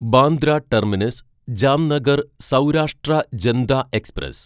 Bandra terminus Jamnagar Saurashtra Janta express